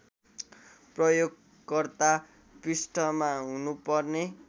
प्रयोगकर्ता पृष्ठमा हुनुपर्ने